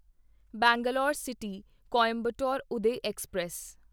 Bangalore city Coimbatore Uday express